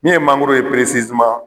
Min ye mangoro ye